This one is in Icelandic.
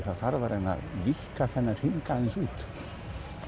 það þarf að reyna að víkka þennan hring aðeins út